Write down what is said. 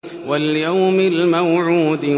وَالْيَوْمِ الْمَوْعُودِ